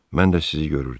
Mən də sizi görürdüm.